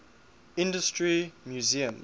industry museums